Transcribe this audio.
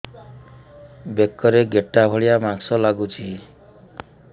ବେକରେ ଗେଟା ଭଳିଆ ମାଂସ ଲାଗୁଚି